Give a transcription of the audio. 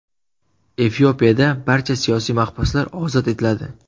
Efiopiyada barcha siyosiy mahbuslar ozod etiladi.